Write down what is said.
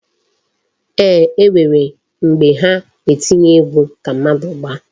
Eeh, e nwere mgbe ha etinye egwu ka mmadu gbaa.